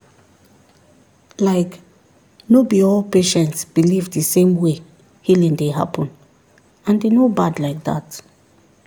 like no be all patients believe the same way healing dey happen and e no bad like that.